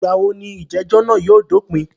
Ìgbà wo ní ìjẹ̀jọ́ náà yóò dópìn?